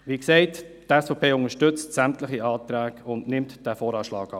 Die SVP unterstützt sämtliche Anträge und nimmt diesen VA an.